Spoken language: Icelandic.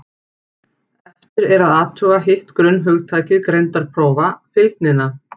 Eftir er að athuga hitt grunnhugtak greindarprófa, fylgnina.